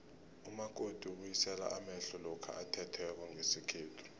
umakoti ubuyisela amehlo lokha athethweko ngesikhethu